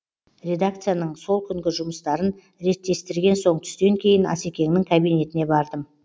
редакцияның сол күнгі жұмыстарын реттестірген соң түстен кейін асекеңнің кабинетіне бардым